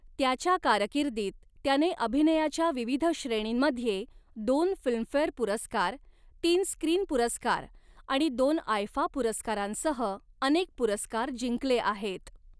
त्याच्या कारकिर्दीत त्याने अभिनयाच्या विविध श्रेणींमध्ये दोन फिल्मफेअर पुरस्कार, तीन स्क्रीन पुरस्कार आणि दोन आयफा पुरस्कारांसह अनेक पुरस्कार जिंकले आहेत.